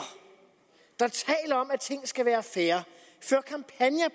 om at ting skal være fair